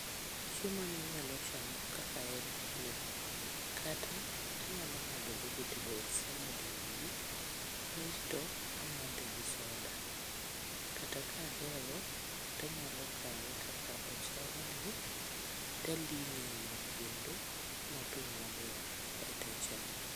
Chiemo ni anyalo chamo kaka en ni, kata anyalo ng'ado vegetable salad e wiye. Kaeto amdhe gi soda, kata kahero tanyalo kawe kaka ochalni taling'e e mo kendo motwo maber kaetachame.